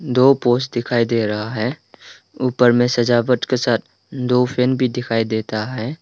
दो पोस्ट दिखाई दे रहा है। ऊपर में सजावट के साथ दो फैन भी दिखाई देता है।